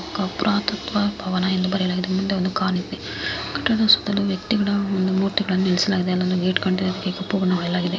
ಪುರಾತತ್ವ ಭವನ ಎಂದು ಬರೆಯಲಾಗಿದೆ ಮುಂದೆ ಒಂದು ಕಾರ್ ನಿಂತಿದೆ ಕಟ್ಟಡ ಸುತಲು ವ್ಯಕ್ತಿಗಳ ಒಂದು ಮೂರ್ತಿ ಗಳು ನಿಲ್ಲಿಸಲಾಗಿದೆ ಅಲೊಂದು ಗೇಟ್ ಇದೆ ಅದುಕೆ ಕಪ್ಪು ಬಣ್ಣ ಹೊಡೆಸಲಾಗಿದೆ --